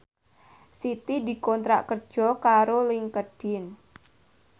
Siti dikontrak kerja karo Linkedin